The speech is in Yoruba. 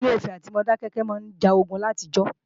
Ilé-Ifè àti Modákẹ́kẹ́ máa ń jogun ní àtijọ́